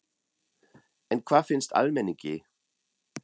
En hvað finnst almenningi?